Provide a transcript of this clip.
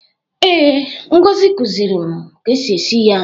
Ee, Ngozi kuziri m ka esi esi ya.